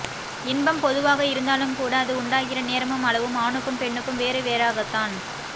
இன்பம் பொதுவாக இருந்தாலும்கூட அது உண்டாகிற நேரமும் அளவும் ஆணுக்கும் பெண்ணுக்கும் வேறுவேறாகத்தான்